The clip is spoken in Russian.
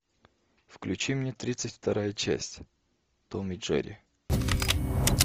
включи мне тридцать вторая часть том и джерри